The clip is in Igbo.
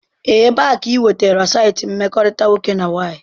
Ebee ka ị nwetara saịtị mkpakọrịta nwoke na nwaanyị?